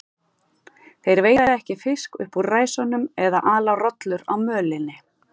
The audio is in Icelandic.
Þeir veiða ekki fisk upp úr ræsunum eða ala rollur á mölinni.